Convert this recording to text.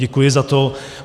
Děkuji za to.